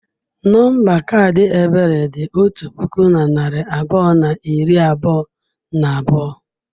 Nọmba kaadị Ebere dị otu puku na narị abụọ na iri abụọ na abụọ.